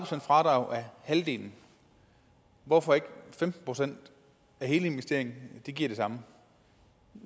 fradrag af halvdelen hvorfor ikke femten procent af hele investeringen det giver det samme